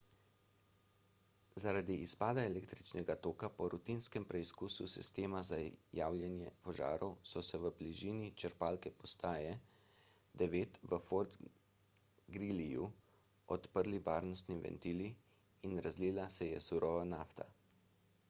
zaradi izpada električnega toka po rutinskem preizkusu sistema za javljanje požarov so se v bližini črpalne postaje 9 v fort greelyju odprli varnostni ventili in razlila se je surova nafta